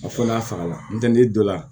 A fɔ n'a fagara n'o tɛ n'i donna